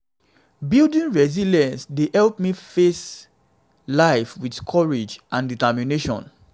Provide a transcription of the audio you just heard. building resilience dey help me face life with courage and determination.